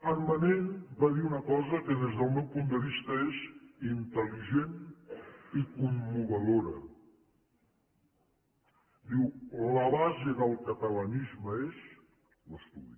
en manent va dir una cosa que des del meu punt de vista és intel·ligent i commovedora diu la base del catalanisme és l’estudi